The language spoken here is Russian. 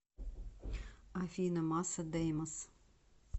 афина масса деймос